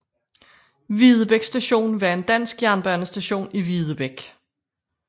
Videbæk Station var en dansk jernbanestation i Videbæk